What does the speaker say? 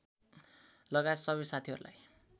लगायत सबै साथीहरूलाई